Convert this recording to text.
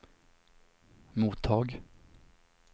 mottag